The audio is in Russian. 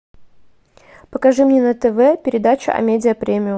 покажи мне на тв передачу амедиа премиум